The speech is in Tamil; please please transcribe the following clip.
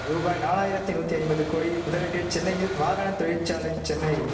ரூபாய் நாலாயிரத்தி நூத்தி ஐம்பது கோடி முதலீட்டில் சென்னையில் வாகன தொழிற்சாலை சென்னை